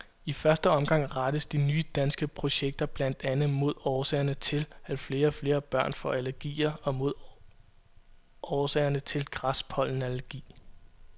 I første omgang rettes de nye danske projekter blandt andet mod årsagerne til, at flere og flere børn får allergier og mod årsagerne til græspollenallergi.